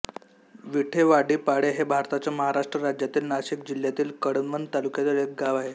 विठेवाडीपाळे हे भारताच्या महाराष्ट्र राज्यातील नाशिक जिल्ह्यातील कळवण तालुक्यातील एक गाव आहे